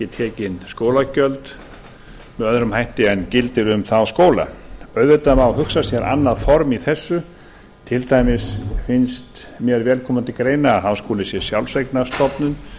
tekin skólagjöld með öðrum hætti en gildir um þá skóla auðvitað má hugsa sér annað form í þessu til dæmis finnst mér vel koma til greina að háskólinn sé sjálfseignarstofnun